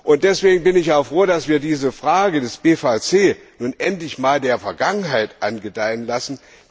Und deswegen bin ich auch froh, dass wir die Frage des PVC nun endlich der Vergangenheit angedeihen lassen.